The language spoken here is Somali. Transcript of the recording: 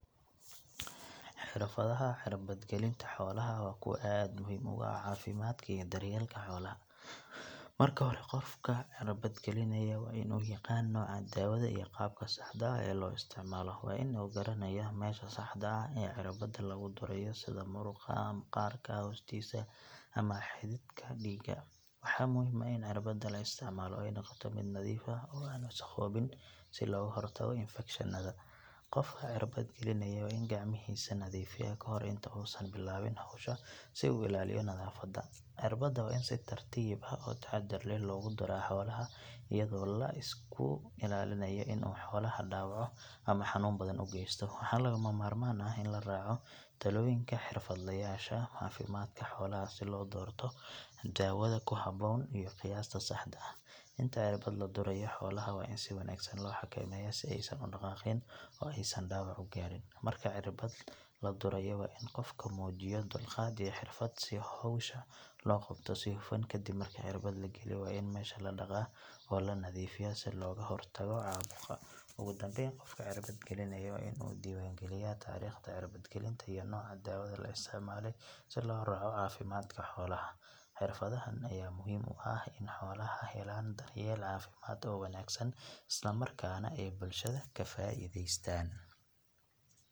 Xirfadaha cirbad gelinta xoolaha waa kuwo aad muhiim ugu ah caafimaadka iyo daryeelka xoolaha. Marka hore qofka cirbad gelinaya waa in uu yaqaan nooca daawada iyo qaabka saxda ah ee loo isticmaalo. Waa in uu garanayaa meesha saxda ah ee cirbada lagu durayo sida muruqa, maqaarka hoostiisa ama xididka dhiigga. Waxaa muhiim ah in cirbada la isticmaalo ay noqoto mid nadiif ah oo aan wasakhoobin si looga hortago infekshannada. Qofka cirbad gelinaya waa in gacmihiisa nadiifiyaa ka hor inta uusan bilaabin hawsha si uu u ilaaliyo nadaafadda. Cirbada waa in si tartiib ah oo taxaddar leh loogu duraa xoolaha iyadoo la iska ilaalinayo in uu xoolaha dhaawaco ama xanuun badan u geysto. Waxaa lagama maarmaan ah in la raaco talooyinka xirfadlayaasha caafimaadka xoolaha si loo doorto daawada ku habboon iyo qiyaasta saxda ah. Inta cirbada la durayo xoolaha waa in si wanaagsan loo xakameeyaa si aysan u dhaqaaqin oo aysan dhaawac u gaarin. Marka cirbada la durayo waa in qofku muujiyo dulqaad iyo xirfad si hawsha loo qabto si hufan. Kadib marka cirbada la geliyo waa in meesha la dhaqaa oo la nadaifiyaa si looga hortago caabuqa. Ugu dambeyn qofka cirbad gelinaya waa inuu diiwaangeliyaa taariikhda cirbad gelinta iyo nooca daawada la isticmaalay si loo raaco caafimaadka xoolaha. Xirfadahan ayaa muhiim u ah in xooluhu helaan daryeel caafimaad oo wanaagsan, islamarkaana ay bulshada ka faa’iideystaan.